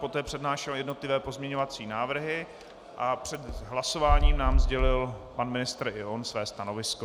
Poté přednášel jednotlivé pozměňovací návrhy a před hlasování nám sdělil pan ministr i on své stanovisko.